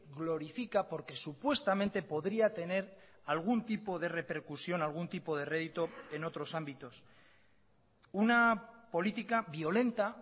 glorifica porque supuestamente podría tener algún tipo de repercusión algún tipo de rédito en otros ámbitos una política violenta